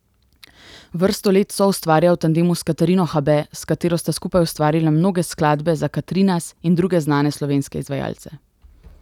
Vrsto let soustvarja v tandemu s Katarino Habe, s katero sta skupaj ustvarila mnoge skladbe za Katrinas in druge znane slovenske izvajalce.